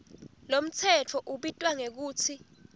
lomtsetfo ubitwa ngekutsi